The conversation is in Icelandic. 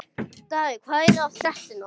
Davíð, hvað er að frétta?